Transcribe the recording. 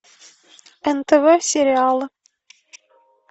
нтв сериалы